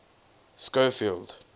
schofield